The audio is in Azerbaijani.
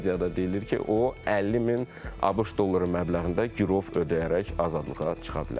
lakin mediada deyilir ki, o 50 min ABŞ dolları məbləğində girov ödəyərək azadlığa çıxa bilər.